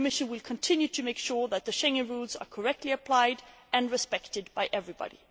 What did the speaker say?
The Commission will continue to make sure that the Schengen rules are correctly applied and respected by everybody.